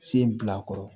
Sen bil'a kɔrɔ